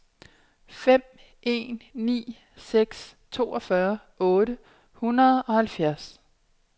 fem en ni seks toogfyrre otte hundrede og halvfjerds